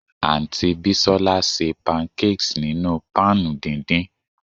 Aunty Bisola se pancakes ninu pan dindin